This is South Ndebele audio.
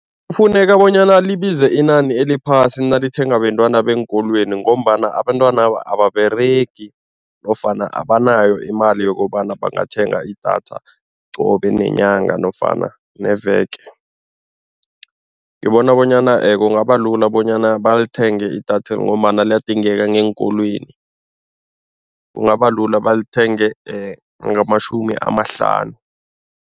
Kufuneka bonyana libize inani eliphasi nalithengwa bentwana beenkolweni ngombana abentwanaba ababeregi nofana abanayo imali yokobana bangathenga idatha qobe nenyanga nofana neveke. Ngibona bonyana kungaba lula bonyana balithenge idatheli ngombana liyadingeka ngeenkolweni, kungabalula balithenge ngamashumi amahlanu.